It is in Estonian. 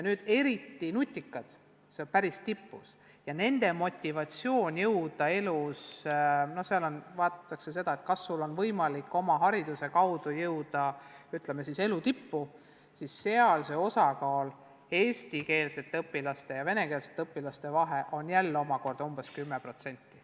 Kui võtta eriti nutikad, kes on päris tipus ja kelle motivatsioon on elus kaugele jõuda – nende puhul hinnatakse seda, kas neil on võimalik oma hariduse abil elus tippu jõuda –, siis nende osakaalu vahe eestikeelsete õpilaste ja venekeelsete õpilaste puhul on samuti umbes 10%.